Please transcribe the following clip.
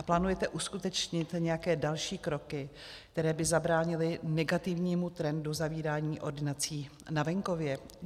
A plánujete uskutečnit nějaké další kroky, které by zabránily negativnímu trendu zavírání ordinací na venkově?